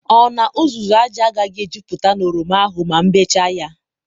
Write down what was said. ọ na uzuzu aja agaghi ejuputa na oroma ahụ ma m bechaa ya?